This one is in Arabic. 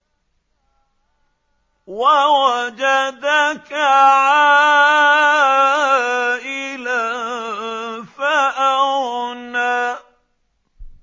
وَوَجَدَكَ عَائِلًا فَأَغْنَىٰ